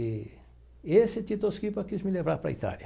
E e esse Tito Schipa quis me levar para a Itália.